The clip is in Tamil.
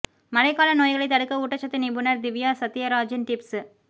மழை கால நோய்களை தடுக்க ஊட்டச்சத்து நிபுணர் திவ்யா சத்யராஜின் டிப்ஸ்